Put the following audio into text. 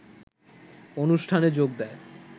অনুষ্ঠানে যোগ দেয়